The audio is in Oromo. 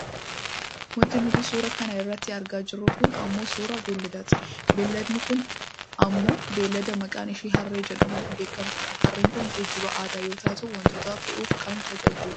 Wanti nuti suuraa kana irratti argaa jirru kun ammoo suuraa beelladaati. Beelladni kun ammoo beellada maqaaan ishee harree jedhamuun beekkamtudha. Harreen kun geejjiba aadaa yoo taatu wantoota fe'uuf kan nu tajaajiludha.